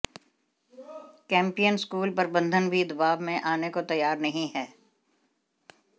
Campion school प्रबंधन भी दबाव में आने को तैयार नहीं है